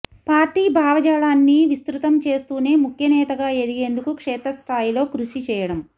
party భావజాలన్ని విస్తృతం చేస్తూనే ముఖ్యనేతగా ఎదిగేందుకు క్షేత్రస్థాయిలో కృషి చేయడం